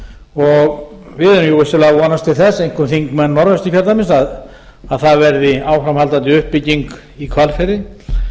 erum jú vissulega að vonast til þess einkum þingmenn norðausturkjördæmis að það verði áframhaldandi uppbygging í hvalfirði